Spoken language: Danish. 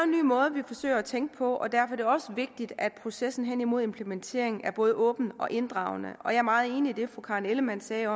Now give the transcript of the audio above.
ny måde vi forsøger at tænke på og derfor er det også vigtigt at processen hen imod implementeringen er både åben og inddragende og jeg er meget enig i det fru karen ellemann sagde